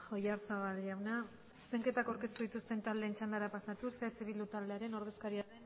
oyarzabal jauna zuzenketak aurkeztu dituzten taldeen txandara pasatuz eh bildu taldeko ordezkaria den ubera andereak dauka hitza